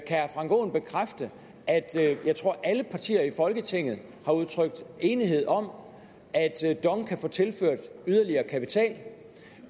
herre frank aaen bekræfte at jeg tror alle partier i folketinget har udtrykt enighed om at dong kan få tilført yderligere kapital